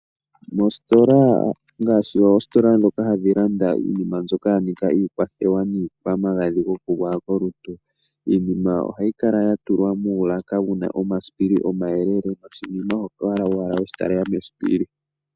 Moositola ngaashi oositola ndhoka hadhi landithwa iinima mbyoka yafa iikwathewa niikwamagadhi goku gwaya kolutu, iinima ohayi kala ya tulwa muulaka wu na omasipili omayelele, moshili oho kala owala weshitalela mesipili.